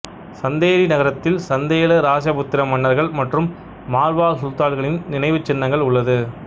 சந்தேரி நகரத்தில் சந்தேல இராசபுத்திர மன்னர்கள் மற்றும் மால்வா சுல்தான்களின் நினைவுச் சின்னங்கள் உள்ளது